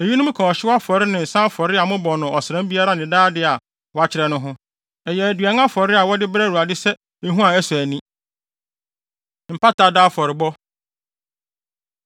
Eyinom ka ɔhyew afɔre ne nsa afɔre a mobɔ no ɔsram biara ne daa de a wɔakyerɛ no ho. Ɛyɛ aduan afɔre a wɔde brɛ Awurade sɛ ehua a ɛsɔ ani. Mpata Da Afɔrebɔ